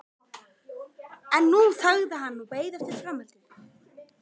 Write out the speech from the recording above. En nú þagði hann og beið eftir framhaldinu.